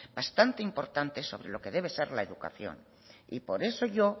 bastante importante sobre lo que debe ser la educación y por eso yo